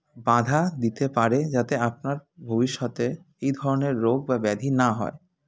বাধা দিতে পারে যাতে আপনার ভবিষ্যতে এই ধরনের রোগ বা ব্যাধি না হয়